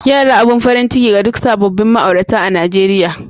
Yara abin farin ciki ga duk sabobin ma'aurata a'Nijeriya.